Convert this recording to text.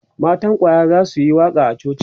matan kwaya zasuyi waƙa a coci